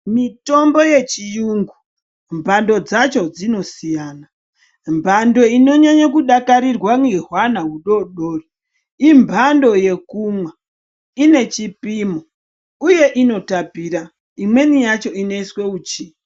Mitombo yechirungu mbando dzacho dzinosiyana. Mbando inonyanya kudakarirwa nehwana hudodori imbando yekumwa, uye ine chipimo Inotapira imweni yacho inoiswa uchi.